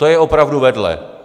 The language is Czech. To je opravdu vedle.